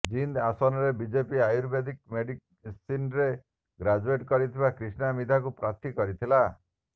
ଜିନ୍ଦ ଆସନରେ BJP ayurvedic ମେଡିସିନ୍ରେ graduate କରିଥିବା କ୍ରୀଷ୍ଣା ମିଧାଙ୍କୁ ପ୍ରାର୍ଥୀ କରିଥିଲା